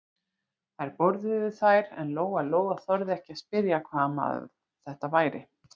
Þær borðuðu þær en Lóa-Lóa þorði ekki að spyrja hvaða maður þetta væri.